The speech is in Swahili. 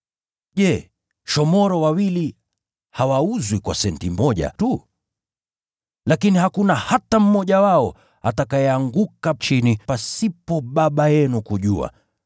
Je, shomoro wawili hawauzwi kwa senti moja tu? Lakini hakuna hata mmoja wao atakayeanguka chini pasipo Baba yenu kujua.